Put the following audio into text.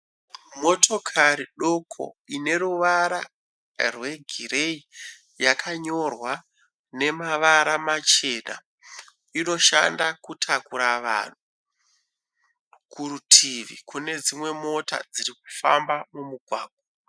Motokari doko ine ruvara rwegireyi yakanyorwa nemavara machena, inoshanda kutakura vanhu. Kurutivi kune dzimwe Mota dzirikufamba mumugwagwa.